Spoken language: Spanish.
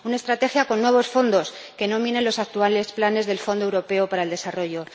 una estrategia con nuevos fondos, que no minen los actuales planes del Fondo Europeo de Desarrollo.